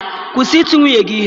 Kwụsị iti nwunye gị ihe!